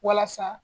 Walasa